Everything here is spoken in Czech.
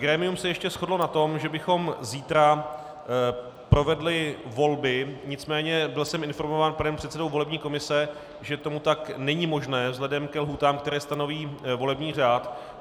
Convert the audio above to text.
Grémium se ještě shodlo na tom, že bychom zítra provedli volby, nicméně byl jsem informován panem předsedou volební komise, že to tak není možné vzhledem ke lhůtám, které stanoví volební řád.